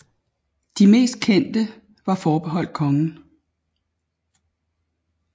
De mest kendte var forbeholdt kongen